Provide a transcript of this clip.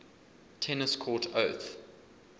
tennis court oath